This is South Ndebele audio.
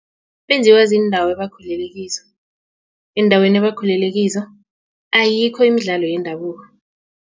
Benziwa ziindawo abakhulelekizo eendaweni abakhulele kizo ayikho imidlalo yendabuko.